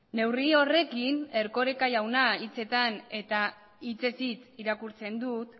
neurri horrekin erkoreka jauna hitzetan eta hitzez hitz irakurtzen dut